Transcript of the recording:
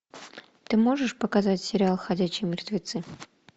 ты можешь показать сериал ходячие мертвецы